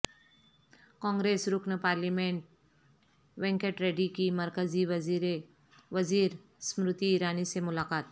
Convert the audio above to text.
کانگریس رکن پارلیمنٹ وینکٹ ریڈی کی مرکزی وزیر سمرتی ایرانی سے ملاقات